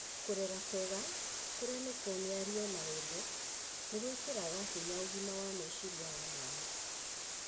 Kũrera kwega, kũrĩa nĩ kuo mĩario na wendo, nĩ gwĩkĩraga hinya ũgima wa meciria wa mwana.